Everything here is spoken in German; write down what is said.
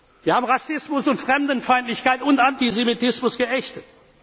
geöffnet. Wir haben Rassismus und Fremdenfeindlichkeit und Antisemitismus